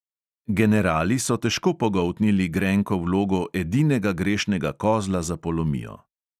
Generali so težko pogoltnili grenko vlogo edinega grešnega kozla za polomijo.